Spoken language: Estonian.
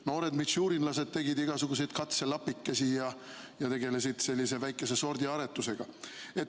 Noored mitšurinlased tegid igasuguseid katselapikesi ja tegelesid väikese sordiaretusega.